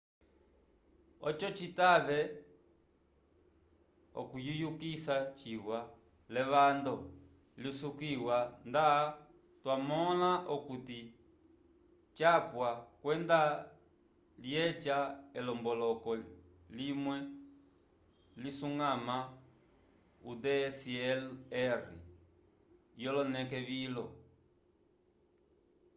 oco citave okuyiyukisa ciwa l'evando lisukiwa nda twamõla okuti capwa kwenda lyeca elomboloko limwe lisuñgama o dslr yoloneke vilo